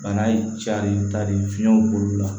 Bana in cari tari fiɲɛw b'olu la